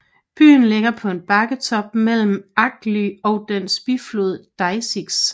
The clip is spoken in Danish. Byen ligger på en bakketop mellem Agly og dens biflod Désix